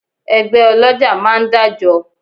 Ẹgbẹ́ ọlọ́jà máa ń dájọ